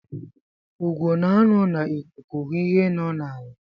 Ugo na-anọ n'ikuku hụ ihe nọ n'ala.